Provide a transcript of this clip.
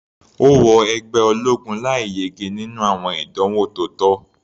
Ó wọ ẹgbẹ́ ológun láì yege nínú àwọn ìdánwò tó tọ́.